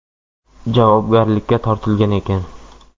javobgarlikka tortilgan ekan.